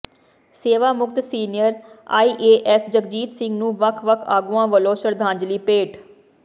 ਸੇਵਾਮੁਕਤ senior IAS Jagjit Singh ਨੂੰ ਵੱਖ ਵੱਖ ਆਗੂਆਂ ਵੱਲੋਂ ਸ਼ਰਧਾਂਜਲੀ ਭੇਟ